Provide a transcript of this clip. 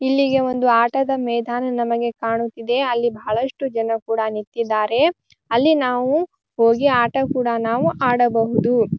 ಇಲ್ಲಿಗೆ ಒಂದು ಆಟದ ಮೈದಾನ ನಮಗೆ ಕಾಣುತಿದೆ ಅಲ್ಲಿ ಬಹಳಷ್ಟು ಜನ ಕೂಡ ನಿಂತಿದ್ದಾರೆ ಅಲ್ಲಿ ನಾವು ಹೋಗಿ ಆಟ ಕೂಡ ನಾವು ಆಡಬಹುದು --